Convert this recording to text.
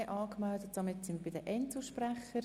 Wir kommen zu den Einzelsprechern.